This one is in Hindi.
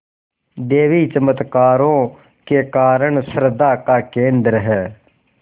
देवी चमत्कारों के कारण श्रद्धा का केन्द्र है